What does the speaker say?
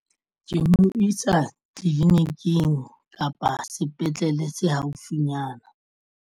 Ke mo isa tleliniking kapa sepetlele se haufinyana.